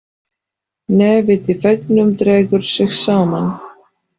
Nefið í veggnum dregur sig saman.